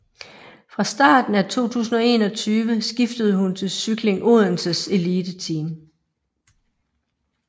Fra starten af 2021 skiftede hun til Cykling Odenses eliteteam